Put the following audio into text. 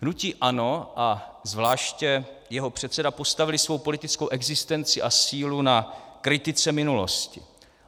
Hnutí ANO a zvláště jeho předseda postavili svou politickou existenci a sílu na kritice minulosti.